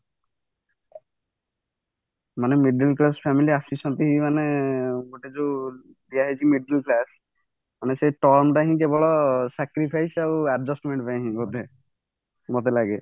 ମାନେ middle class family ଆସିଛନ୍ତି ମାନେ ଗୋଟେ ଯୋଉ ଦିଆ ହେଇଛି middle class ମାନେ ସେଇ ତମ ଟା ହିଁ କେବଳ sacrifice ଆଉ adjustment ପାଇଁ ବୋଧେ ମତେ ଲାଗେ